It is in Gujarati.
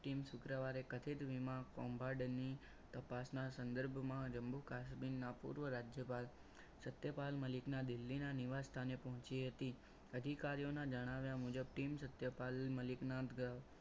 Team શુક્રવારે કઠેડે વીમા કોમ્બોર્ડની તપાસના સંદર્ભમાં જંબુ કાશ્મીરના પૂર્વ રાજ્યપાલ સત્યપાલ મલિક ના દિલ્હીના નિવાસ સ્થાને પહોંચી હતી અધિકારીઓના જણાવ્યા મુજબ teams સત્યપાલ મલિકના ગ્રહ